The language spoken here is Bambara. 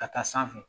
Ka taa sanfɛ